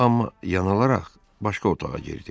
Amma yanılaraq başqa otağa girdi.